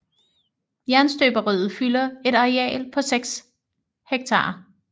Jernstøberiet fylder et areal på 6 ha